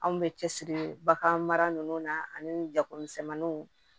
Anw bɛ cɛ siri bagan mara ninnu na ani jakomisɛnninw